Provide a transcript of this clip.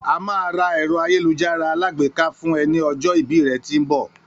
A máa ra èrò àyélujárá alágbèká fún e ni ọjọ́ ìbí rẹ tí ń mbọ